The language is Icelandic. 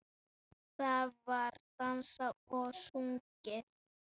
Það var dansað og sungið.